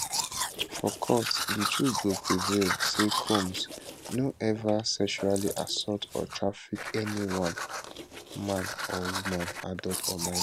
for court di truth go prevail say combs no ever sexually assault or traffick anyone man or woman adult or minor